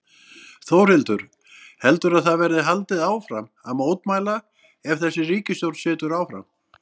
Þórhildur: Heldurðu að það verði haldið áfram að mótmæla ef að þessi ríkisstjórn situr áfram?